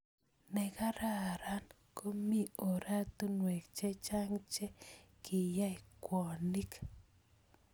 Nekararan, ko mii orotunwek chechang che kinyae ngwonik.